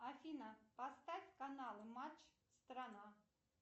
афина поставь каналы матч страна